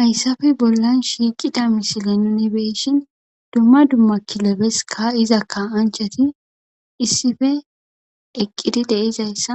hayssafe bollan shiiqida misile nuni beeshin dumma dumma kilebeska iza ka anchati issife eqqidi deizayssa